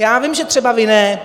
Já vím, že třeba vy ne.